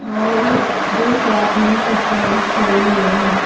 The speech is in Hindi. और दो शॉप में कस्टमर्स ठेहरे हुए है।